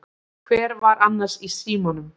Hver var annars í símanum?